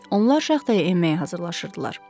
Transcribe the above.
Onlar şaxtaya enməyə hazırlaşırdılar.